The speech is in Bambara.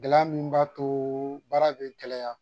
Gɛlɛya min b'a too baara be gɛlɛya.